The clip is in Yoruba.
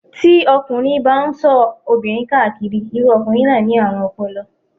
Tí ọkùnrin bá ń ṣọ́ obìnrin ká káàkiri, irú ọkùnrin náà ni àrùn ọpọlọ.